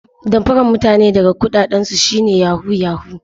Damfarar mutane daga kudaden su shi ne 'yahoo yahoo'